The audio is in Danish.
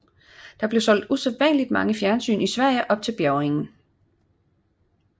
Der blev solgt usædvanlig mange fjernsyn i Sverige op til bjærgningen